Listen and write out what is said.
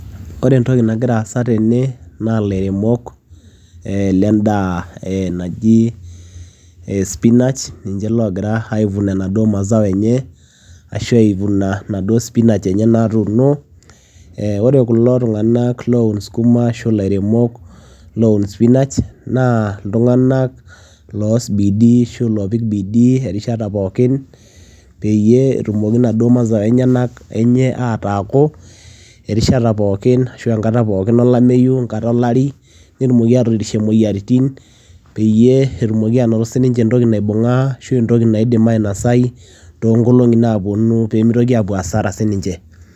Ore entoki nagira aasa tene naa ilairemok ee lendaa e naji spinach ninje lagira ai vuna enaduo mazao enye ashu ai vuna naduo spinach enye natuuno ee kore kulo tung'anak loun skuma ashu illairemok neun spinach [cs, naa iltung'anak loas bidii ashu loopik bidii erishata pookin peyie etumoki naduo mazao enyenak enye ataaku erishata pookin ashu enkata pookin olameyu, enkata olari netumoki atoorishie moyiaritin peyie etumoki anoto sininje entoki naibung'aa ashu entoki naidim ainasai too nkolong'i naaponu pee mitoki aapuo hasara sininje.